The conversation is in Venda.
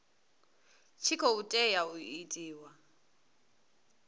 tshi khou tea u itiwa